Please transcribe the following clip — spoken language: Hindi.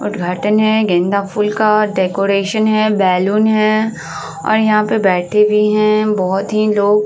उद्घाटन है गेंदा फुल का डेकोरेशन है। बैलून है और यहाँ पे बैठे भी हैं बहुत ही लोग --